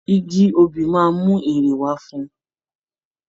Igi obì máa mú èrè wá fún ùn